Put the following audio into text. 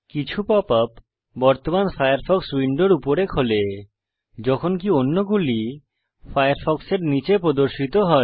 কিছু pop up বর্তমান Firefox উইন্ডোর উপরে খোলে যখনকি অন্যগুলি ফায়ারফক্সের নীচে প্রদর্শিত হয়